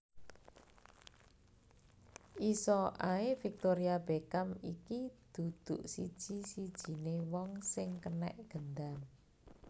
Iso ae Victoria Beckham iki duduk siji sijine wong sing kenek gendam